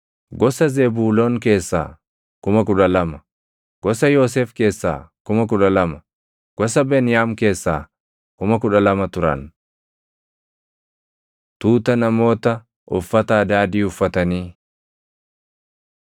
gosa Zebuuloon keessaa 12,000, gosa Yoosef keessaa 12,000, gosa Beniyaam keessaa 12,000 turan. Tuuta Namoota Uffata Adaadii Uffatanii